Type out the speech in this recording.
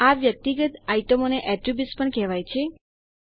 આ વ્યક્તિગત આઈટમોને એટ્રીબ્યુટ્સ પણ કહેવાય છે